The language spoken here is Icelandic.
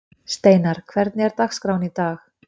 Steinarr, hvernig er dagskráin í dag?